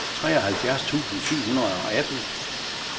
treoghalvfjerds tusind syv hundrede og atten